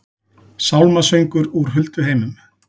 Sálmasöngur úr hulduheimum